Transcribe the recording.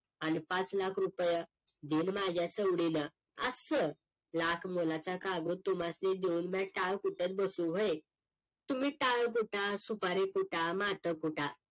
आणि पाच लाख रुपेय दिन माझ्या सवडीनं असं लाख मोलाचा कागूद तुम्हाला देऊन टाळ कुटत बसू व्हय तुम्ही टाळ कुटा सुपारी कुटा माथा फुटा